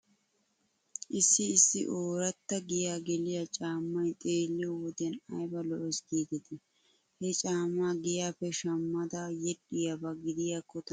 Issi issi ooratta giyaa geliyaa caammay xeelliyoo wodiyan ayba lo'es giidetii. He caamaa giyaappe shammada yedhdhiyaaba gidiyaakko tanakka aybba ufayssii